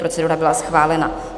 Procedura byla schválena.